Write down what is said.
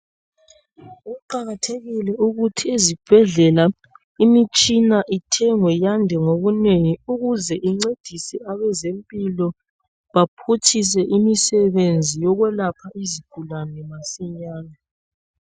Kuqakathekile ukuthi ezibhedlela imitshina ithengwe yande ngobunengi ukuze incedise abezempilo baphutshise imisebenzi yokwelapha izigulane masinyane.